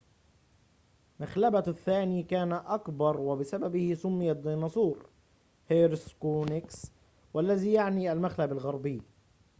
مخلبه الثاني كان أكبر وبسببه سُمّي الديناصور هيسبيرونيكس والذي يعني المخلب الغربي